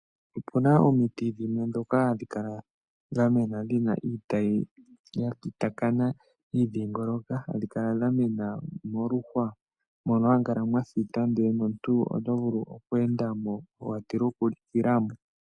Opu na omiti dhimwe ndhoka hadhi kala dha mena dhi na iitayi ya kitakana yi idhiingolioka , hadhi kala dha mena dha mena moluhwa mono hamu kala mwa thita, ndele nomuntu oto vulu oku enda mo, wa tila oku likila mo.